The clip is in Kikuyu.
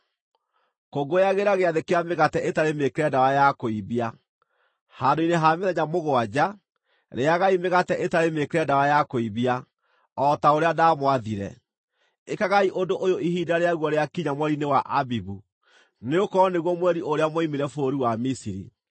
“Kũngũyagĩra Gĩathĩ kĩa Mĩgate ĩtarĩ mĩĩkĩre ndawa ya kũimbia. Handũ-inĩ ha mĩthenya mũgwanja, rĩĩagai mĩgate ĩtarĩ mĩĩkĩre ndawa ya kũimbia, o ta ũrĩa ndaamwathire. Ĩkagai ũndũ ũyũ ihinda rĩaguo rĩakinya mweri-inĩ wa Abibu, nĩgũkorwo nĩguo mweri ũrĩa mwoimire bũrũri wa Misiri.